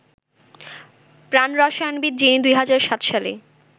প্রাণরসায়নবিদ যিনি ২০০৭ সালে